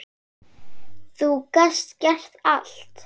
Þú gast gert allt.